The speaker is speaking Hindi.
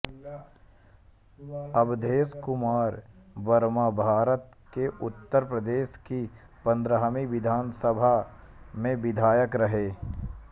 अवधेश कुमार वर्माभारत के उत्तर प्रदेश की पंद्रहवी विधानसभा सभा में विधायक रहे